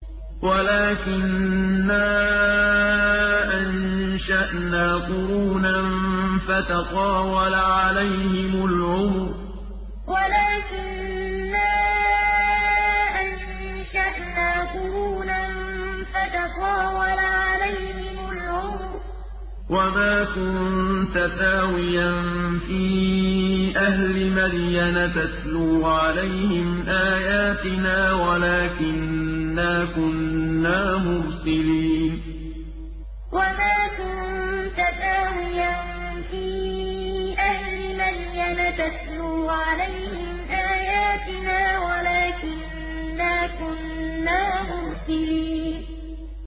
وَلَٰكِنَّا أَنشَأْنَا قُرُونًا فَتَطَاوَلَ عَلَيْهِمُ الْعُمُرُ ۚ وَمَا كُنتَ ثَاوِيًا فِي أَهْلِ مَدْيَنَ تَتْلُو عَلَيْهِمْ آيَاتِنَا وَلَٰكِنَّا كُنَّا مُرْسِلِينَ وَلَٰكِنَّا أَنشَأْنَا قُرُونًا فَتَطَاوَلَ عَلَيْهِمُ الْعُمُرُ ۚ وَمَا كُنتَ ثَاوِيًا فِي أَهْلِ مَدْيَنَ تَتْلُو عَلَيْهِمْ آيَاتِنَا وَلَٰكِنَّا كُنَّا مُرْسِلِينَ